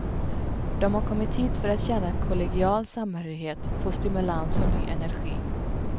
De har kommit hit för att känna kollegial samhörighet, få stimulans och ny energi.